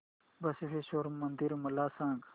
बसवेश्वर मंदिर मला सांग